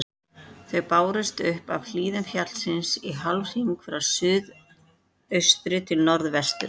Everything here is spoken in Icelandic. Þau bárust upp af hlíðum fjallsins í hálfhring frá suðaustri til norðvesturs.